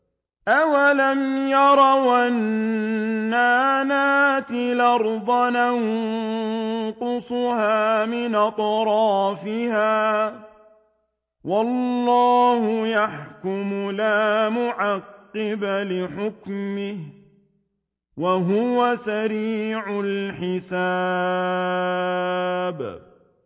أَوَلَمْ يَرَوْا أَنَّا نَأْتِي الْأَرْضَ نَنقُصُهَا مِنْ أَطْرَافِهَا ۚ وَاللَّهُ يَحْكُمُ لَا مُعَقِّبَ لِحُكْمِهِ ۚ وَهُوَ سَرِيعُ الْحِسَابِ